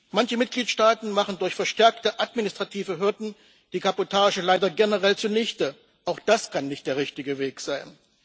Manche Mitgliedstaaten machen durch verstärkte administrative Hürden die Kabotage leider generell zunichte auch das kann nicht der richtige Weg sein.